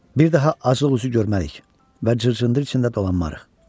Bir daha acılıq üzü görmərik və cırcındır içində dolanmarıq.